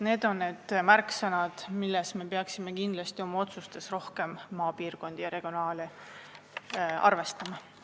Need on need märksõnad, millega me peaksime kindlasti rohkem arvestama otsustes, mis mõjutavad maapiirkonda ja regionaalset tasandit.